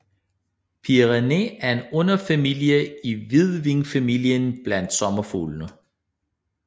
Pierinae er en underfamilie i hvidvingefamilien blandt sommerfuglene